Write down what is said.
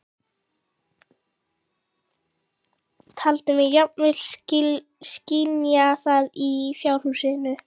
Taldi mig jafnvel skynja það í fjárhúsinu.